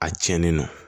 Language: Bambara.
A cɛnnen don